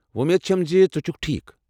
وۄمید چَھم زِ ژٕ چھُکھ ٹھیٖکھ۔